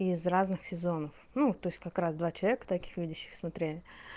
из разных сезонов ну то есть как раз два человека таких видящих смотрели